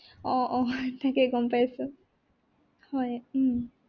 আহ আহ তাকেই গম পাইছো হয় উম